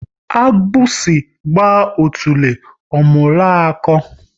Agbusi gba otule, ọ mụrụ akọ